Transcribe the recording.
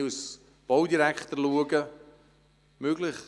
Es ist vieles möglich.